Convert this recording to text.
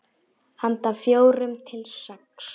Handa fjórum til sex